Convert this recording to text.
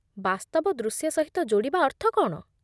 ବାସ୍ତବ ଦୃଶ୍ୟ ସହିତ ଯୋଡ଼ିବା ଅର୍ଥ କ'ଣ?